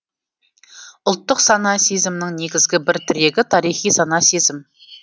ұлттық сана сезімнің негізгі бір тірегі тарихи сана сезім